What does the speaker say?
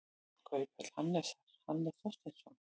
Kauphöll Hannesar, Hannes Þorsteinsson.